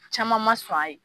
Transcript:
Caman ma sɔn a ye.